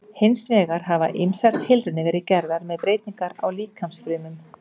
Hins vegar hafa ýmsar tilraunir verið gerðar með breytingar á líkamsfrumum.